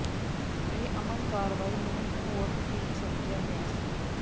ਇਹ ਅਮਨ ਕਾਰਵਾਈ ਨੂੰ ਹੋਰ ਠੀਕ ਸਮਝਿਆ ਗਿਆ ਸੀ